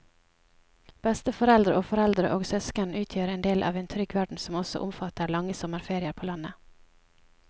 Besteforeldre og foreldre og søsken utgjør en del av en trygg verden som også omfatter lange sommerferier på landet.